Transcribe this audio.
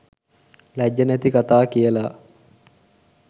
ලැජ්ජ නැති කථා කියල